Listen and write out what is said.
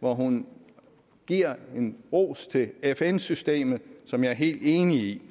hvor hun giver en ros til fn systemet som jeg er helt enig i